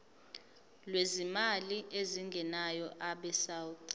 lwezimali ezingenayo abesouth